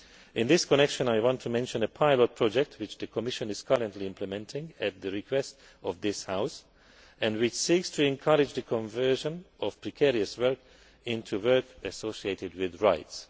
In this connection, I want to mention a private project which the Commission is currently implementing at the request of this House, and which seeks to encourage the conversion of precarious work into work associated with rights.